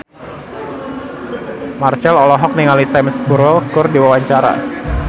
Marchell olohok ningali Sam Spruell keur diwawancara